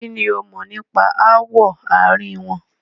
Kinni ó mọ̀ nípa ááwọ̀ àárín wọn?